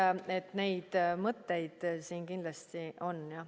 Nii et neid mõtteid siin kindlasti on, jah.